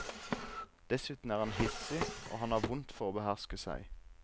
Dessuten er han hissig, og han har vondt for å beherske seg.